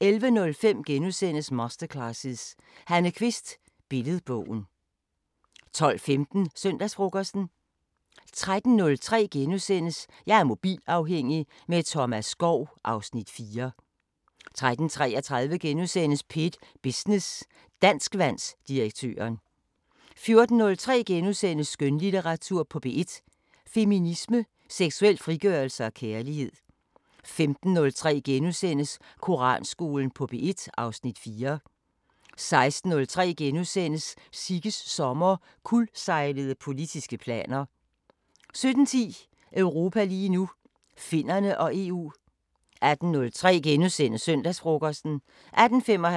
13:03: Jeg er mobilafhængig – med Thomas Skov (Afs. 4)* 13:33: P1 Business: Danskvandsdirektøren * 14:03: Skønlitteratur på P1: Feminisme, seksuel frigørelse og kærlighed * 15:03: Koranskolen på P1 (Afs. 4)* 16:03: Sigges sommer: Kuldsejlede politiske planer * 17:10: Europa lige nu: Finnerne og EU 18:03: Søndagsfrokosten * 18:55: Danmark kort 19:03: Droner og kanoner: Jægersoldater og frømænd træner afrikanske kolleger * 19:33: Efterforskerne: Kontant afregning *